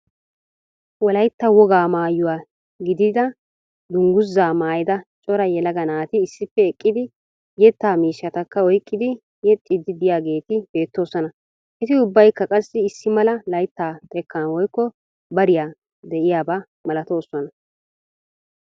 Wollaytta wogaa mayuwaa giidida dunguzzaa maayida cora yelaga naati issippe eqqidi yeettaa miishshatakka oyqqidi yeexxiidi de'iyaageeti beettoosona. Eti ubbaykka qassi issi mala layttaa xeekkan woykko bariyaa de'iyaaba malaatoosona.